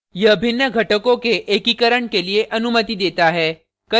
यह विभिन्न घटकों के एकीकरण के लिए अनुमति देता है